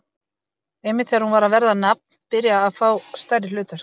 Einmitt þegar hún var að verða nafn, byrja að fá stærri hlutverk.